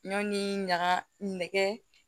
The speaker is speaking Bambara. Ɲɔn ni ɲaga nɛgɛ